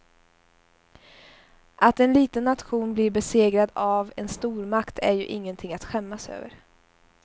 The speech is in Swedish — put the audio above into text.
Att en liten nation blir besegrad av en stormakt är ju ingenting att skämmas över.